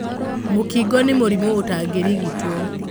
Mũkingo nĩmũrimũ ũtangĩrigitwo.